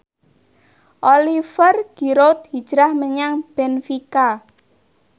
Oliver Giroud hijrah menyang benfica